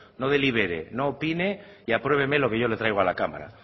no delibere no opine y apruébeme lo que yo le traigo a la cámara